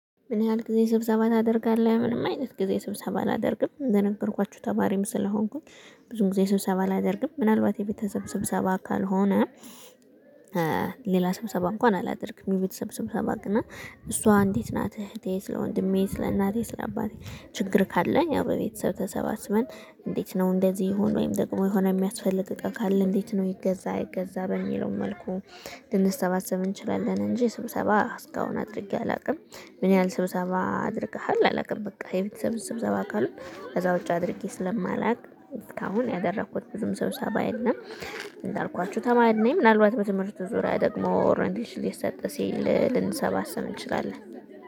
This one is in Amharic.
ምን ያህል ጊዜ ስብሰባ ታደርጋለህ? ምንም አይነት ጊዜ ስብሰባ አላደርግም እንደገርኳችሁ ተማሪም ስለሆንኩኝ ብዙ ጊዜ ስብሰባ አላደርግም ምናልባት የቤተሰብ ስብሰባ ካልሆነ ሌላ ስብሰባ እንኳን አላደርግም። የቤተሰብ ስብሰባት ግን እሷ እንዴት ናት? እህቴ ስለ ወንድሜ ስለ እናቴ ስለ አባቴ ችግር ካለ አዎ በቤተሰብ ተሰባስበን። እንዴት ነው እንደዚህ የሆንኩት ወይም ደግሞ የሆነ የሚያስፈልግ እቃ ካለ እንዴት ነው ይገዛ አይገዛ በሚለው መልኩ ልንሰባሰብ እንችላለን። እንጂ ስብሰባ እስካሁን አድርጌ አላውቅም። ምን ያህል ስብሰባ አድርገሃል? አላውቅም በቃ የቤተሰብ ስብሰባ ካልሆነ ከዛ ውጪ አድርጌ ስለማላውቅ እስካሁን ያደረኩት ብዙም ሰብሰባ የለም። እንዳልኳችሁ ተማሪ ነኝ ምናልባት በትምህርቱ ዙሪያ ደግሞ ኦረንቴሽን ሊሰጥ ሲል ልንሰባሰብ እንችላለን